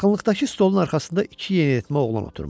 Yaxınlıqdakı stolun arxasında iki yeniyetmə oğlan oturmuşdu.